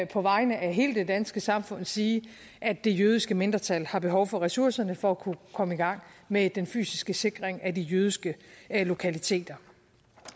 på vegne af hele det danske samfund sige at det jødiske mindretal har behov for ressourcerne for at kunne komme i gang med den fysiske sikring af de jødiske lokaliteter